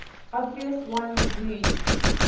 obvious ones used